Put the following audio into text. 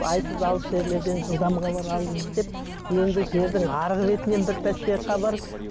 айсыз алыс жерлерден жылдам хабар алыңыз деп енді жердің арғы бетінен бір пәсте хабар